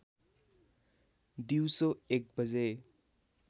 दिउँसो १ बजे